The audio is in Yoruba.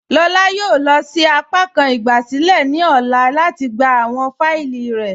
Lọlá yóò lọ sí àpàkàn ìgbàsílẹ̀ ní ọlá lati gbà awọn fáílì rẹ̀.